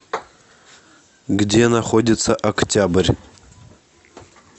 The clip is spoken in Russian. где находится октябрь